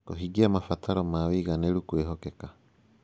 Kũhingia mabataro ma ũigananĩru kwĩhokeka